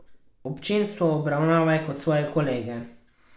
Občinstvo obravnavaj kot svoje kolege.